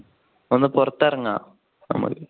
ഒന്ന് പുറത്ത് ഇറങ്ങാ.